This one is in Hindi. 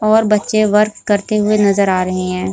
और बच्चे वर्क करते हुए नजर आ रहे हैं।